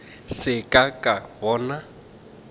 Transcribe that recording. se ka ka ka bona